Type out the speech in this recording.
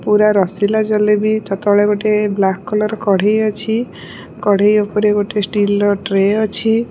ପୁରା ରସିଲା ଜଲେବି ତା ତଳେ ଗୋଟେ ବ୍ଲାକ କଲର୍ କଢେଇ ଅଛି କଢେଇ ଉପରେ ଗୋଟେ ଷ୍ଟିଲ ର ଟ୍ରେ ଅଛି।